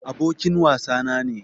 Abokin wasa na ne.